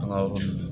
An ka yɔrɔ